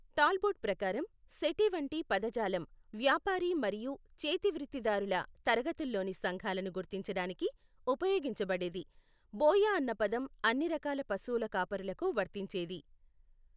Talbot ప్రకారం, సెఠి వంటి పదజాలం వ్యాపారి మరియు చేతివృత్తిదారుల తరగతుల్లోని సంఘాలను గుర్తించడానికి ఉపయోగించబడేది, బోయ అన్న పదం అన్ని రకాల పశువుల కాపరులకు వర్తించేది.